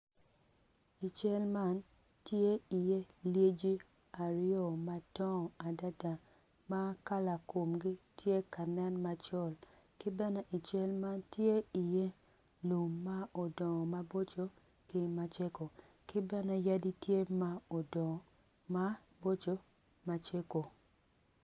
I cal man tye i ye lyeci aryo madongo adada makala komgi tye ka nen macol kibene ical man tye i ye lum ma odongo maboco ki macego ki bene yadi tye ma odongo maboco ki macego.